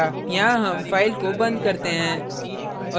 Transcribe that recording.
यहाँ हम file को बंद करते हैं